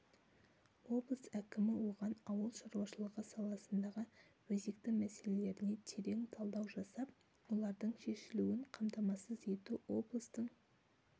облыс әкімі оған ауыл шаруашылығы саласындағы өзекті мәселелеріне терең талдау жасап олардың шешілуін қамтамасыз ету облыстың